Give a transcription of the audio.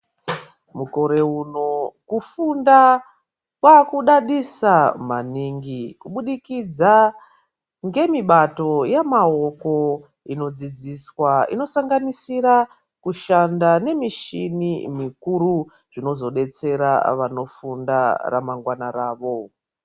Mukore uno kufunda kwakudadisa maningi kubudikidza ngemibato yemaoko inodzidziswa inosanganisira kushanda nemishini mikuru zvinozodetsera ramangwana ravo.